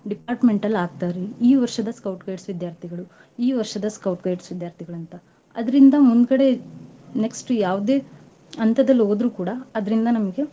Department ಅಲ್ ಹಾಕ್ತಾರೀ ಈ ವರ್ಷದ Scout Guides ವಿದ್ಯಾರ್ಥಿಗಳೂ, ಈ ವರ್ಷದ Scout Guides ವಿದ್ಯಾರ್ಥಿಗಳೂ ಅಂತ. ಅದ್ರಿಂದ ಮುಂದ್ಗಡೆ next ಯಾವ್ದೇ ಹಂತದಲ್ ಹೋದ್ರು ಕೂಡಾ ಅದ್ರಿಂದ ನಮ್ಗ.